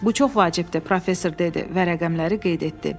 Bu çox vacibdir, professor dedi və rəqəmləri qeyd etdi.